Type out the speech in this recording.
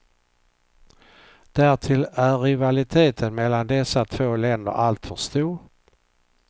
Därtill är rivaliteten mellan dessa två länder alltför stor.